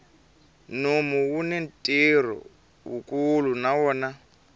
nomu wuni ntirho wukulu na wona